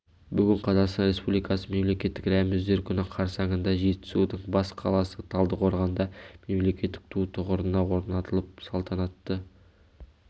бүгін қазақстан республикасының мемлекеттік рәміздер күні қарсаңында жетісудың бас қаласы талдықорғанда мемлекеттік ту тұғырына орнатылып салтанатты